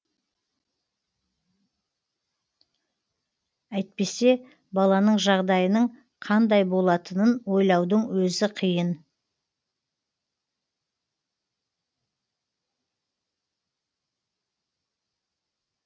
әйтпесе баланың жағдайының қандай болатынын ойлаудың өзі қиын